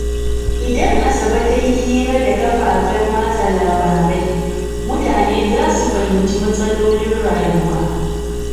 Idan Asabe ta yi hira da kafafen watsa labarai, mutane za su fahimci matsalolin rayuwa.